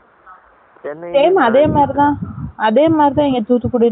Same அதே மாதிரி தான். அதே மாதிரி தான் இங்க தூத்துக்குடியிலும் இருந்துச்சா?